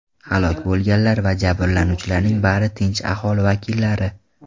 Halok bo‘lganlar va jabrlanuvchilarning bari tinch aholi vakillari.